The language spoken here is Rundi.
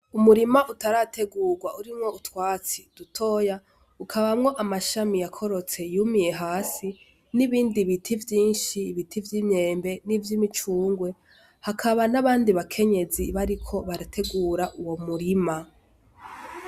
Umurima utarategurwa urimwo utwatsi dutoya ukabamwo amashami yakorotse yumiye hasi n'ibindi biti vyinshi ibiti vy'imyembe n'ivyo imicungwe hakaba n'abandi bakenyezi bariko barategura uwo murima.